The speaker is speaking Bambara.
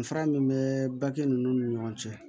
Danfara min bɛ bake ninnu ni ɲɔgɔn cɛ